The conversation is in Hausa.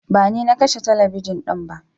Bani nakashe talabijin dinba.